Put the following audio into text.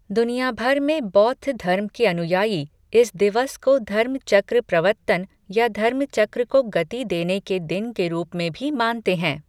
दुनिया भर में बौद्ध धर्म के अनुयायी इस दिवस को धर्म चक्र प्रवत्तन या धर्म चक्र को गति देने के दिन के रूप में भी मानते हैं।